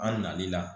An nali la